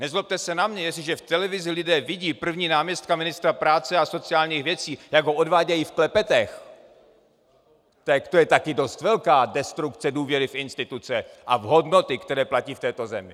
Nezlobte se na mě, jestliže v televizi lidé vidí prvního náměstka ministra práce a sociálních věcí, jak ho odvádějí v klepetech, tak to je tady dost velká destrukce důvěry v instituce a v hodnoty, které platí v této zemi.